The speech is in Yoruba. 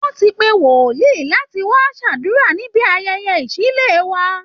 Wọ́n ti pe wòlíì láti wá ṣàdúrà níbi ayẹyẹ ìṣílé wa